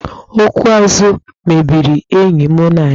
Okwu azụ mebiri enyi mụ na ya.